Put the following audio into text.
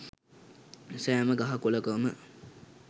සෑම ගහ කොළකම